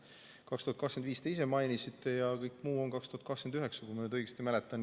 Aastat 2025 te ise mainisite ja kõik muu on 2029, kui ma õigesti mäletan.